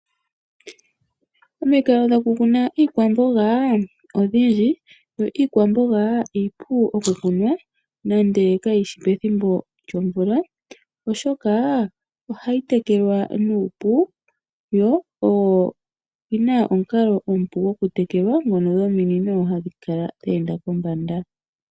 Omikalo dhokutekela iikwamboga odhindji yo iikwamboga iipu okukuna nenge kayishi pethimbo lyomvula oshoka ohayi tekelwa nuupu yo oyi na omukalo omupu nokutekelwa ngono gominino hadhi kala dhe enda pombanda.